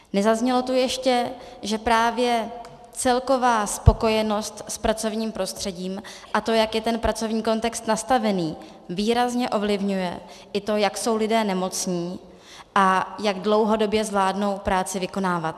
Nezaznělo tu ještě, že právě celková spokojenost s pracovním prostředím a to, jak je ten pracovní kontext nastavený, výrazně ovlivňuje i to, jak jsou lidé nemocní a jak dlouhodobě zvládnou práci vykonávat.